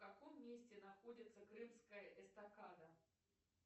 в каком месте находится крымская эстакада